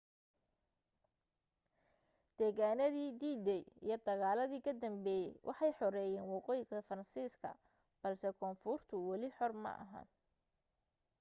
degitaanadii d-day iyo dagaaladii ka dambeeyay waxay xoreeyeen waqooyiga faransiiska balse koonfurtu wali xor ma ahayn